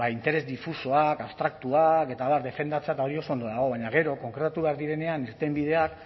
interes difusoak abstraktuak eta abar defendatzea eta hori oso ondo dago baina gero konkretatu behar direnean irtenbideak